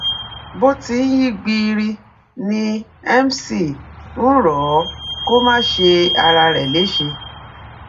bó ti ń yí gbiiri ni mc ń rọ̀ ọ́ kó má ṣe ara rẹ̀ léṣe